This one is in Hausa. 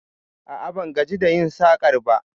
A'a, ban gaji da yin sakar ba